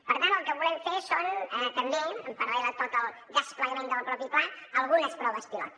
per tant el que volem fer són també en paral·lel a tot el desplegament del mateix pla algunes proves pilot